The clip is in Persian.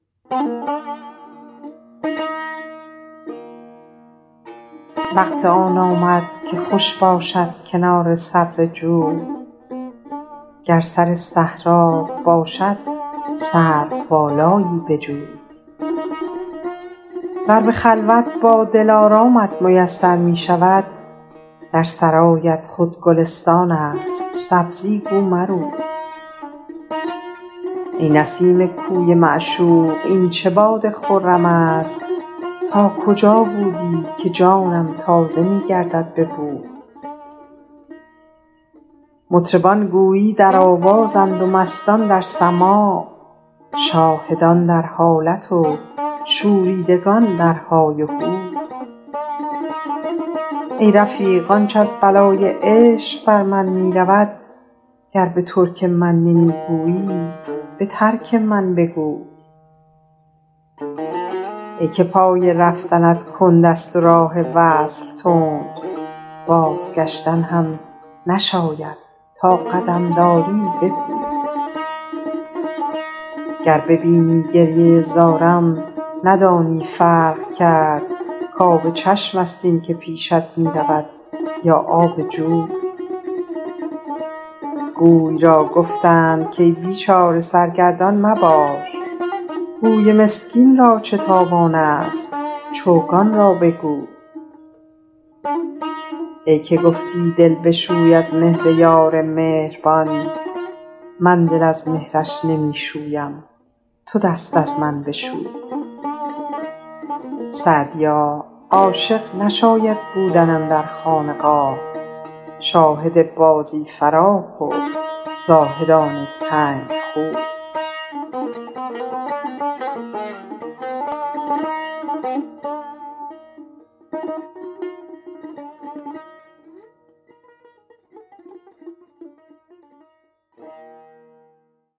وقت آن آمد که خوش باشد کنار سبزه جوی گر سر صحرات باشد سروبالایی بجوی ور به خلوت با دلارامت میسر می شود در سرایت خود گل افشان است سبزی گو مروی ای نسیم کوی معشوق این چه باد خرم است تا کجا بودی که جانم تازه می گردد به بوی مطربان گویی در آوازند و مستان در سماع شاهدان در حالت و شوریدگان در های و هوی ای رفیق آنچ از بلای عشق بر من می رود گر به ترک من نمی گویی به ترک من بگوی ای که پای رفتنت کند است و راه وصل تند بازگشتن هم نشاید تا قدم داری بپوی گر ببینی گریه زارم ندانی فرق کرد کآب چشم است این که پیشت می رود یا آب جوی گوی را گفتند کای بیچاره سرگردان مباش گوی مسکین را چه تاوان است چوگان را بگوی ای که گفتی دل بشوی از مهر یار مهربان من دل از مهرش نمی شویم تو دست از من بشوی سعدیا عاشق نشاید بودن اندر خانقاه شاهد بازی فراخ و زاهدان تنگ خوی